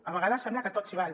a vegades sembla que tot s’hi val